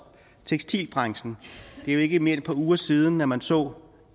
tekstilbranchen det jo ikke mere end et par uger siden at man så